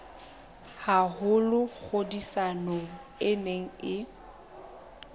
haholo tlhodisanong e neng e